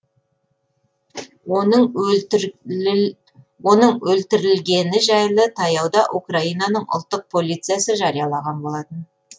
оның өлтірілгені жайлы таяуда украинаның ұлттық полициясы жариялаған болатын